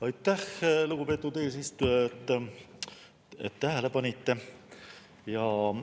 Aitäh, lugupeetud eesistuja, et tähele panite!